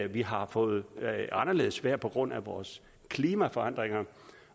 vi har fået anderledes vejr på grund af vores klimaforandringer